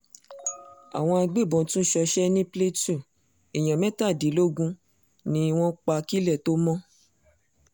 àwọn agbébọn tún ṣọṣẹ́ ní plateau èèyàn mẹ́tàdínlógún ni wọ́n pa kílẹ̀ tóo mọ̀